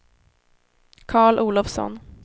Carl Olovsson